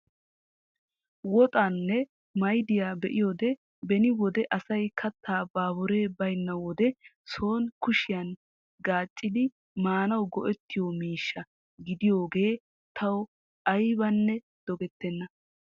woxaanne maydiyaa be'iyoode beni wode asay kaattaa baburee baynna wode soni kushshiyaan gaaccidi maanawu go"etiyoo miishsha gidaage tawu aybanne dogettena.